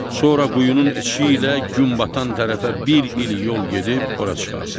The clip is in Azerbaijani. Sonra quyunun içi ilə gün batan tərəfə bir il yol gedib ora çıxarsız.